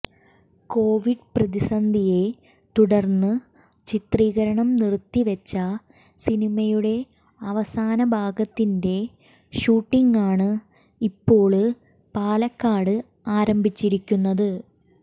Covid പ്രതിസന്ധിയെ തുടര്ന്ന് ചിത്രീകരണം നിര്ത്തിവെച്ച സിനിമയുടെ അവസാന ഭാഗത്തിന്റെ ഷൂട്ടിംഗാണ് ഇപ്പോള് പാലക്കാട് ആരംഭിച്ചിരിക്കുന്നത്